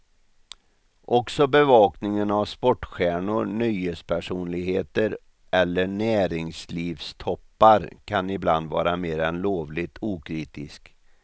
Också bevakningen av sportstjärnor, nöjespersonligheter eller näringslivstoppar kan ibland vara mer än lovligt okritisk.